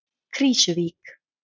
Krýsuvík